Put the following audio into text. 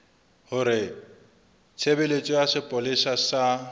hore tshebeletso ya sepolesa sa